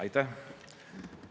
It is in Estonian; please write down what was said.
Aitäh!